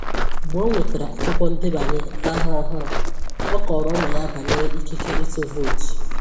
Mgbe o nwetàrà akwụkwọ ndebanye ahọ ọhụrụ, ọ kọrọ ụmụ ya banyere ikike ịtụ vootu.